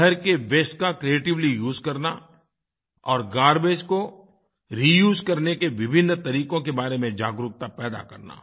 शहर के वास्ते का क्रिएटिवली उसे करना और गार्बेज को रियूज करने के विभिन्न तरीकों के बारे में जागरूकता पैदा करना